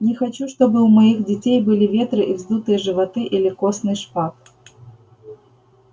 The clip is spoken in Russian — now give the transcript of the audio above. не хочу чтобы у моих детей были ветры и вздутые животы или костный шпат